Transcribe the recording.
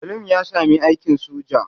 Salim ya sami aikin sojan?